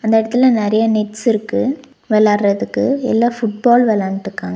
இந்த எடத்துல நறைய நெட்ஸுருக்கு வெளாடறதுக்கு எல்லா ஃபுட்பால் வெளான்ட்ருக்காங்க.